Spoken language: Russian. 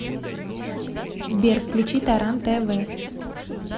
сбер включи таран тэ вэ